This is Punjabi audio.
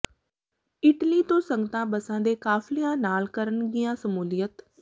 ਇਟਲੀ ਤੋਂ ਸੰਗਤਾਂ ਬੱਸਾਂ ਦੇ ਕਾਫਲਿਆਂ ਨਾਲ ਕਰਨਗੀਆਂ ਸਮੂਲੀਅਤ